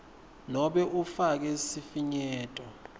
nobe ufake sifinyeto